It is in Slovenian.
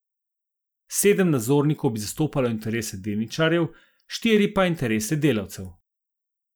Sedem nadzornikov bi zastopalo interese delničarjev, štiri pa interese delavcev.